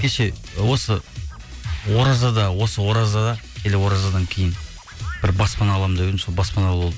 кеше ы осы оразада осы оразада или оразадан кейін бір баспана аламын деп едім сол баспаналы болдым